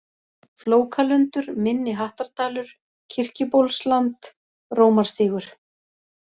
Flókalundur, Minni-Hattardalur, Kirkjubólsland, Rómarstígur